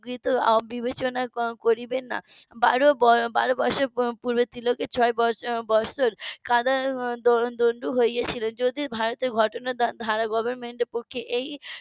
হম বিবেচনা করিবেন না বারো বারো মাসে . পূর্বের তিলকের ছয় বৎসর . হয়ে ছিলেন যদি ভারতের ঘটনার ধারা government এর পক্ষে